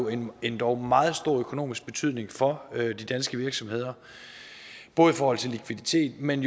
en endog meget stor økonomisk betydning for de danske virksomheder både i forhold til likviditet men